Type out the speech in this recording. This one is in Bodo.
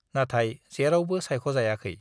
नाथाय जेरावबो साइख'जायाखै।